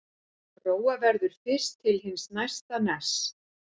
Róa verður fyrst til hins næsta ness.